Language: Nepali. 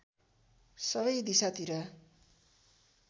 सबै दिशातिर